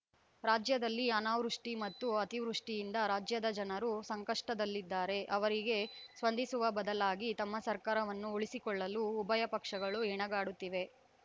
ರಾಜ್ಯದಲ್ಲಿ ಅನಾವೃಷ್ಟಿಮತ್ತು ಅತಿವೃಷ್ಟಿಯಿಂದ ರಾಜ್ಯದ ಜನರು ಸಂಕಷ್ಟದಲ್ಲಿದ್ದಾರೆ ಅವರಿಗೆ ಸ್ಪಂದಿಸುವ ಬದಲಾಗಿ ತಮ್ಮ ಸರ್ಕಾರವನ್ನು ಉಳಿಸಿಕೊಳ್ಳಲು ಉಭಯ ಪಕ್ಷಗಳು ಹೆಣಗಾಡುತ್ತಿವೆ